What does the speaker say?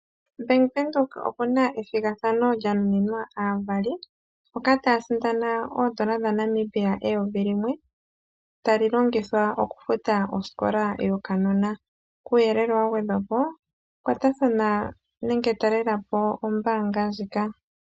Bank Windhoek okuna ethigathano lyanunina aavali moka taya sindana oondola dhaNamibia eyovi . Iimaliwa mbina ohayi longithwa okufuta enongelo lyokanona. Kuuyelele wagwedwapo kwatathana nenge taalelapo ombaanga ndjika.